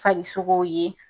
Farisogo ye